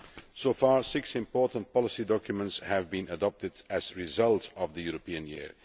So far, six important policy documents have been adopted as a result of the European Year.